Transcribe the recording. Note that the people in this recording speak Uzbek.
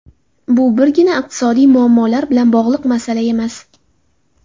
Bu birgina iqtisodiy muammolar bilan bog‘liq masala emas.